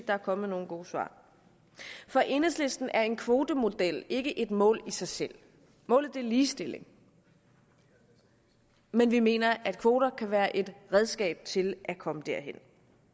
er kommet nogen gode svar for enhedslisten er en kvotemodel ikke et mål i sig selv målet er ligestilling men vi mener at kvoter kan være et redskab til at komme derhen